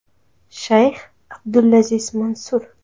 Shayx Abdulaziz Mansur.